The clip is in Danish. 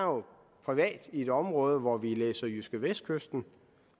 privat i et område hvor vi læser jydskevestkysten